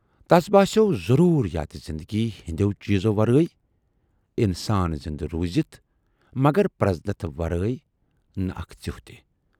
تَس باسیوو ضروٗریاتہِ زِندگی ہٕندٮ۪و چیٖزو ورٲے اِنسان زِندٕ روٗزِتھ، مگر پرزنتھ ورٲے نہٕ اکھ ژیوٗہ تہِ۔